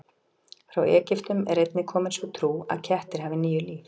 Frá Egyptum er einnig komin sú trú að kettir hafi níu líf.